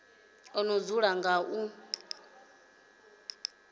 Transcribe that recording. o no dzula nga u